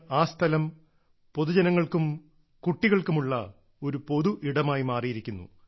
ഇന്ന് ആ സ്ഥലം പൊതുജനങ്ങൾക്കും കുട്ടികൾക്കുമുള്ള ഒരു പൊതു ഇടമായി മാറിയിരിക്കുന്നു